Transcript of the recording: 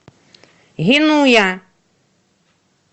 генуя